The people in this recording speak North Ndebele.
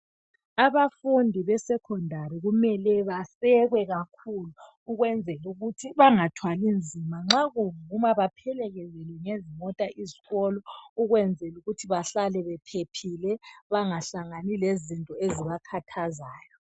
Abafundi be secondary kumele basekwe kakhulu ukwenzela ukuthi bangathwali nzima .Nxa kuvuma baphilekezelwe ngezimota zesikolo ukwenzela ukuthi bahlale bephephile bangahlani lezinto ezibakhathazayo.